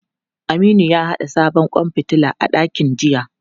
Aminu ya haɗa sabon kwan fitila a dakin jiya.